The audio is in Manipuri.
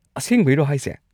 ꯑꯁꯦꯡꯕꯩꯔꯣ ꯍꯥꯏꯁꯦ!?